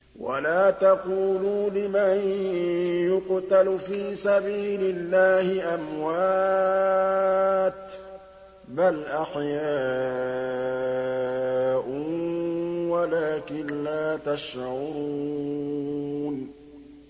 وَلَا تَقُولُوا لِمَن يُقْتَلُ فِي سَبِيلِ اللَّهِ أَمْوَاتٌ ۚ بَلْ أَحْيَاءٌ وَلَٰكِن لَّا تَشْعُرُونَ